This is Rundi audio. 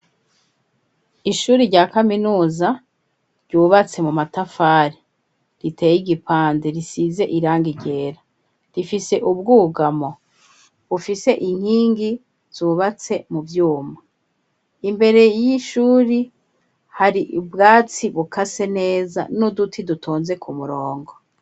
Ishuri rya kaminuza ryubatse mu matafari, riteye igipande, risize irangi ryera, rifise ubwugamo bufise inkingi zubatse mu vyuma, imbere y'ishuri hari ubwatsi bukase neza n'uduti dutonze ku murongo.